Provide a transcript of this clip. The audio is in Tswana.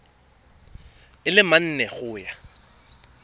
a le mane go ya